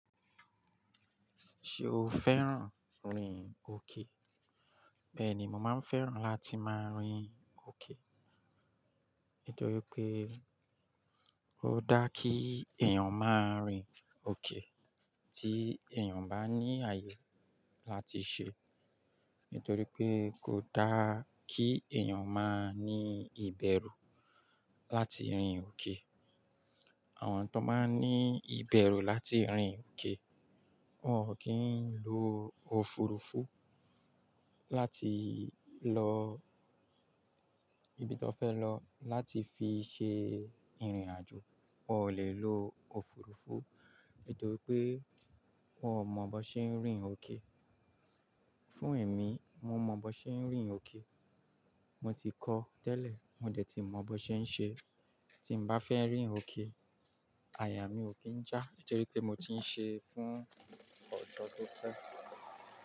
Ṣé o fẹ́ràn rìn òkè? Bẹ́ẹ̀ ni, mo máa ń fẹ́ràn láti máa rìn òkè. Nítorí pé ó dá kí èèyàn máa rìn òkè. Tí èèyàn bá ní àyè láti ṣe, nítorí pé kò dá kí èèyàn máa ní ìbẹ̀rù láti rìn òkè. Àwọn tó máa ń ní ìbẹ̀rù láti rìn òkè, wọn ò kí ń lo òfurufú láti lọ ibi tó fẹ́ lọ, láti fi ṣe ìrìnàjò. Wọn ò lè lo òfurufú, nítorí pé wọ́n ò mọ bó ṣe ń rìn òkè. Fún èmi, mo mọ bó ṣe ń rìn òkè. Mo ti kọ́ tẹ́lẹ̀, mo dẹ̀ ti mọ bó ṣe ń ṣe. Tí n bá fẹ́ rìn òkè, àyà mí ò kí ń já, nítorí pé mo ti ń ṣe fún ọ̀jọ́ tó pẹ́